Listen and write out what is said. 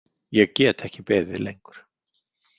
Ég get ekki beðið lengur.